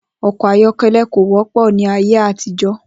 O̩kò̩ ayó̩ké̩lé̩ kò wó̩pò̩ ní ayé àtijó̩